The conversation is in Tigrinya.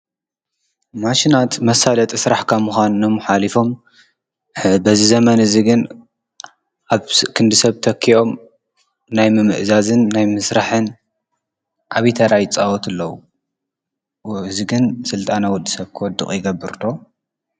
ማሽናት መሳለጢ ስራሕ ካብ ምኻኖም ሓሊፎም በዚ ዘመን እዚ ግን ኣብ ክንዲ ሰብ ተኪኦም ናይ ምምእዛዝን ናይ ምስራሕን ዓብይ ታራ ይፃወቱ ኣለው ። 'ዎ እዚ ግን ስልጣን ወድሰብ ክወድቅ ይገብርዶ ?